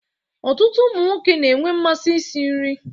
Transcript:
Ọtụtụ ụmụ nwoke na-enwe mmasị isi nri